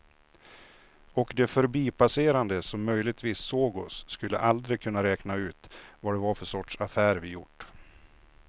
Och de förbipasserande som möjligtvis såg oss skulle aldrig kunna räkna ut vad det var för sorts affär vi gjort.